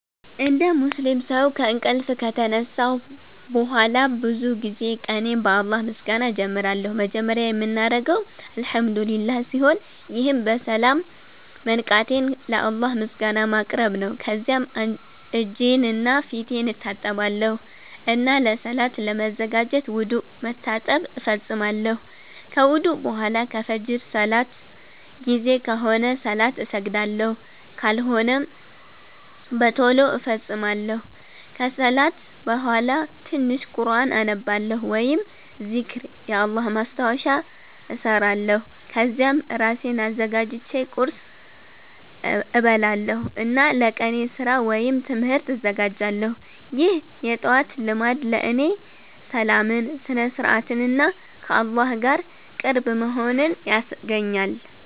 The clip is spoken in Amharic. እንደ ሙስሊም ሰው ከእንቅልፍ ከተነሳሁ በኋላ ብዙ ጊዜ ቀኔን በአላህ ምስጋና እጀምራለሁ። መጀመሪያ የምናገረው “አልሐምዱሊላህ” ሲሆን ይህም በሰላም መንቃቴን ለአላህ ምስጋና ማቅረብ ነው። ከዚያም እጄንና ፊቴን እታጠባለሁ እና ለሰላት ለመዘጋጀት ውዱእ (መታጠብ) እፈጽማለሁ። ከውዱእ በኋላ ከፍጅር ሰላት ጊዜ ከሆነ ሰላት እሰግዳለሁ፣ ካልሆነም በቶሎ እፈጽማለሁ። ከሰላት በኋላ ትንሽ ቁርኣን አነባለሁ ወይም ዚክር (የአላህ ማስታወሻ) እሰራለሁ። ከዚያም እራሴን አዘጋጅቼ ቁርስ እበላለሁ እና ለቀኔ ስራ ወይም ትምህርት እዘጋጃለሁ። ይህ የጠዋት ልማድ ለእኔ ሰላምን፣ ስነ-ስርዓትን እና ከአላህ ጋር ቅርብ መሆንን ያስገኛል።